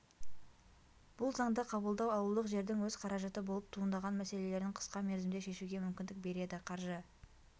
бұл заңды қабылдау ауылдық жердің өз қаражаты болып туындаған мәселелерін қысқа мерзімде шешуге мүмкіндік береді қаржы